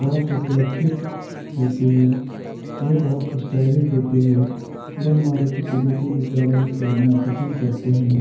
बहोत ही सुरक्षित होती है ये बहोत स्टाइलिश होती है लोग मारुति सुजुकी की गाड़ियां खरीदना पसंद करते हैं।